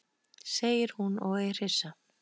segir hún og er hissa.